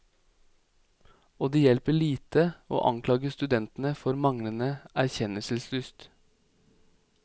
Og det hjelper lite å anklage studentene for manglende erkjennelseslyst.